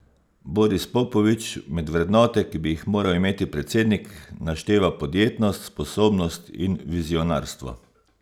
Boris Popovič med vrednote, ki bi jih moral imeti predsednik, našteva podjetnost, sposobnost in vizionarstvo.